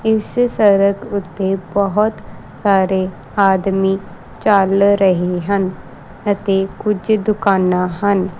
ਇਸ ਸਰਕ ਓੱਤੇ ਬੋਹੁਤ ਸਾਰੇ ਆਦਮੀ ਚੱਲ ਰਹੇ ਹਨ ਅਤੇ ਕੁਝ ਦੁਕਾਨਾਂ ਹਨ।